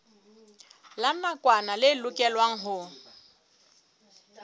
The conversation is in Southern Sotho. la nakwana le lokelwang ho